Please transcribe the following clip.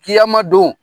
Kiyamadon